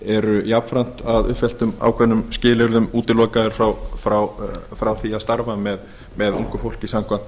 eru jafnframt að uppfylltum ákveðnum skilyrðum útilokaðir frá því að starfa með ungu fólki samkvæmt